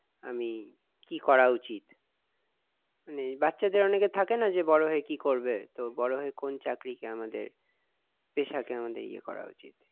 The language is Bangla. আমি কি করা উচিত মানে বাচ্চাদের অনেকের থাকে না যে বড় হয়ে কি করবে তো বড় হয়ে কোন চাকরি টা আমাদের পেশা কে আমাদের ইয়ে করা উচিত